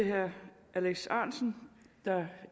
herre alex ahrendtsen